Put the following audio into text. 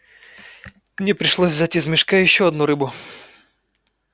мне пришлось взять из мешка ещё одну рыбу